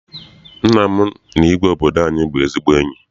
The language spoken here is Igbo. Nna m na igwe obodo anyị bụ ezigbo enyi.